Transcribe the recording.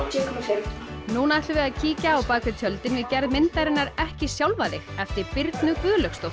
út núna ætlum við að kíkja á bak við tjöldin við gerð myndarinnar ekki sjálfa þig eftir Birnu Guðlaugsdóttur